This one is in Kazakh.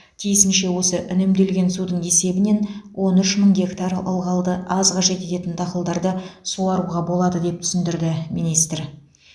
тиісінше осы үнемделген судың есебінен он үш мың гектар ылғалды аз қажет ететін дақылдарды суаруға болады деп түсіндірді министр